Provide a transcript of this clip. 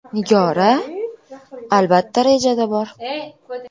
Nigora: Albatta, rejada bor.